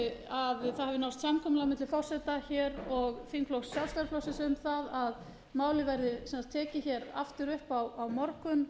að það hafi náðst samkomulag milli forseta og þingflokks sjálfstæðisflokksins um að málið verði tekið aftur upp á morgun